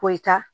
Ko i ta